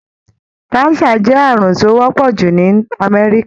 Cancer jẹ́ àrùn tó wọ́pọ̀ jù ní Amẹ́ríkà.